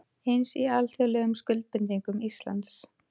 Eins í alþjóðlegum skuldbindingum Íslands